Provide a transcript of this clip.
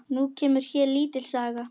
Nú kemur hér lítil saga.